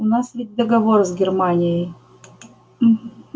у нас ведь договор с германией